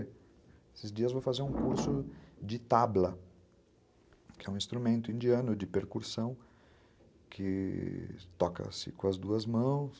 Esses dias vou fazer um curso de tabla, que é um instrumento indiano de percursão que toca-se com as duas mãos.